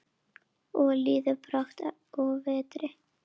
Og líður brátt að vetri.